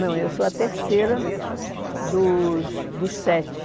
Não, eu sou a terceira dos dos sete.